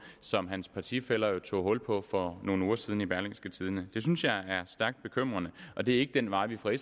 som hans partifæller jo tog hul på for nogle uger siden i berlingske tidende det synes jeg er stærkt bekymrende og det er ikke den vej vi fra